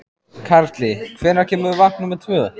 Karli, hvenær kemur vagn númer tvö?